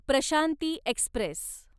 Prashanti Express